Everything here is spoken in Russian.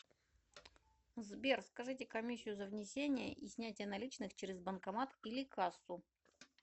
сбер скажите комиссию за внесение и снятие наличных через банкомат или кассу